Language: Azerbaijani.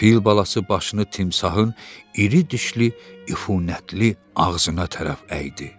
Fil balası başını timsahın iri dişli, üfunətli ağzına tərəf əydi.